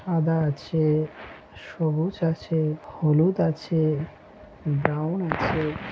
সাদা আছে সবুজ আছে হলুদ আছে ব্রাউন আছে।